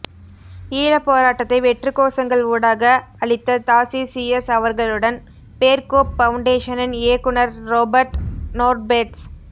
ஈழப் போராட்டத்தை வெற்றுக்கோசங்கள் ஊடாக அழித்த தாசீசியஸ் அவர்களுடன் பேர்கோப் பவுண்டேஷனின் இயக்குனர் ரொபேர்ட் நோர்பேர்ட்ஸ்